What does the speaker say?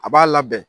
A b'a labɛn